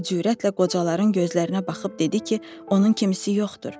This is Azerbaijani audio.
O cürətlə qocaların gözlərinə baxıb dedi ki, onun kimisi yoxdur.